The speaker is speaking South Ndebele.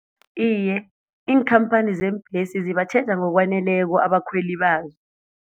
Iye, iinkhamphani zeembhesi zibatjheja ngokwaneleko abakhweli bazo.